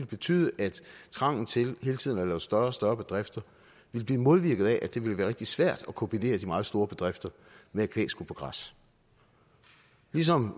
betyde at trangen til hele tiden at lave større og større bedrifter ville blive modvirket af at det ville være rigtig svært at kombinere de meget store bedrifter med at kvæg skulle på græs ligesom